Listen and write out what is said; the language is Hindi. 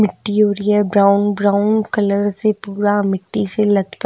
मिट्टी हो रही है ब्राउन ब्राउन कलर से पूरा मिट्टी से लटका--